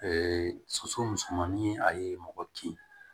soso musomanin a ye mɔgɔ kin